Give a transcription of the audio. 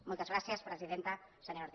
moltes gràcies presidenta senyora ortiz